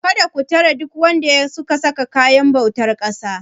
Kada ku tare duk wanda suka sa kayan bautar ƙasa.!